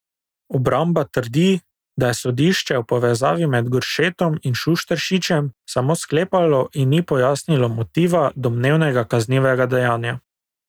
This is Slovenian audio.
Obramba trdi, da je sodišče o povezavi med Goršetom in Šušteršičem samo sklepalo in ni pojasnilo motiva domnevnega kaznivega dejanja.